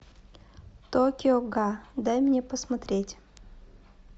токио га дай мне посмотреть